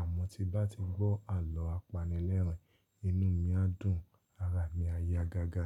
àmọ́ tí bá ti gbọ́ àlọ́ apanilẹ́rìn, inú mi á dùn, ara mi á ya gágá.